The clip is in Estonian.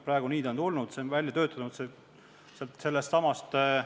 Praegu on ta sellisena meile tulnud, sellisena on see konventsioon välja töötatud.